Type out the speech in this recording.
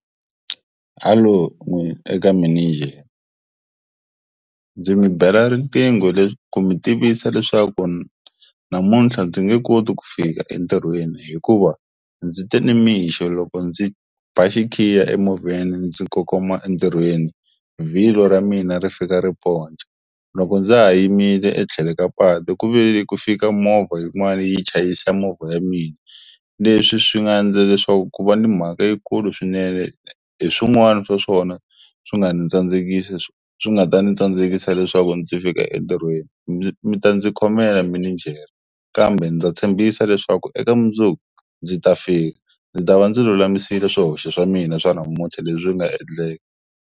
Hello eka mininjere ndzi mi bela riqingho leswi ku mi tivisa leswaku namuntlha ndzi nge koti ku fika entirhweni hikuva ndzi te nimixo loko ndzi ba xikhiya emovheni ndzi kongoma entirhweni vhilwa ra mina ri fika ri ponca loko ndza ha yimile etlhele ka patu ku ve ni ku fika movha yin'wani yi chayisa movha ya mina leswi swi nga endla leswaku ku va ni mhaka yikulu swinene hi swin'wana swa swona swi nga ni tsandzekisa swi nga ta ni tsandzekisa leswaku ndzi fika entirhweni mi ta ndzi khomela mininjere kambe ndza tshembisa leswaku eka mundzuku ndzi ta fika ndzi ta va ndzi lulamisile swihoxo swa mina swa namuntlha leswi nga endleka.